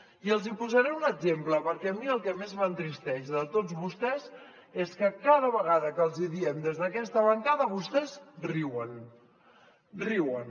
i els hi posaré un exemple perquè a mi el que més m’entristeix de tots vostès és que cada vegada que els hi diem des d’aquesta bancada vostès riuen riuen